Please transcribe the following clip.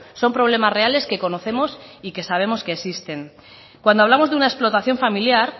son problemas reales que conocemos y que sabemos que existen cuando hablamos de una explotación familiar